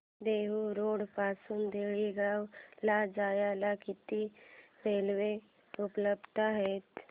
Dehu road पासून तळेगाव ला जायला किती रेल्वे उपलब्ध आहेत